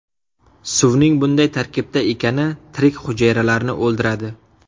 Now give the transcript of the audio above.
Suvning bunday tarkibda ekani tirik hujayralarni o‘ldiradi.